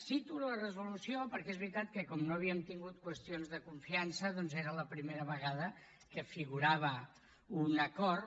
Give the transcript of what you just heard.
cito la resolució perquè és veritat que com no havíem tingut qüestions de confiança era la primera vegada que hi figurava un acord